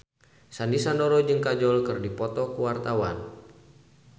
Sandy Sandoro jeung Kajol keur dipoto ku wartawan